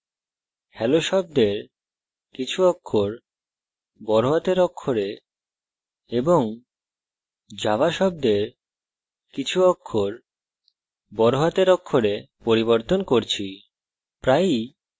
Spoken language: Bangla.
আমি hello শব্দের কিছু অক্ষর এবং java শব্দের কিছু অক্ষর বড় হাতের অক্ষরে পরিবর্তন করছি